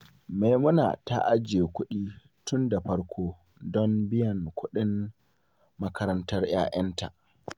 Maimuna ta ajiye kuɗi tun da farko don biyan kuɗin makarantar yara.